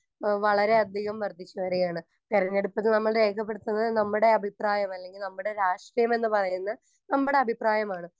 Speaker 1 ഏഹ് വളരെയധികം വർദ്ധിച്ചുവരികയാണ്.തെരഞ്ഞെടുപ്പ് നമ്മൾ രേഖപ്പെടുത്തുന്നത് നമ്മടെ അഭിപ്രായം അല്ലെങ്കിൽ നമ്മടെ രാഷ്ട്രീയമെന്നു പറയുന്ന നമ്മടെ അഭിപ്രായമാണ്.